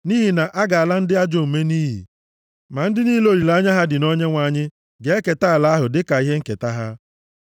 Nʼihi na a ga-ala ndị ajọ omume nʼiyi, ma ndị niile olileanya ha dị na Onyenwe anyị ga-eketa ala ahụ dịka ihe nketa ha.